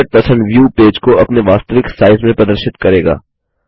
100 view page को अपने वास्तविक साइज़ में प्रदर्शित करेगा